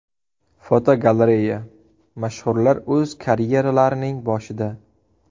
Fotogalereya: Mashhurlar o‘z karyeralarining boshida.